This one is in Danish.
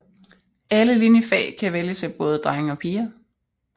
Alle liniefag kan vælges af både drenge og piger